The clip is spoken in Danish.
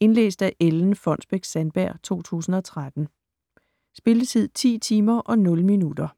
Indlæst af Ellen Fonnesbech-Sandberg, 2013. Spilletid: 10 timer, 0 minutter.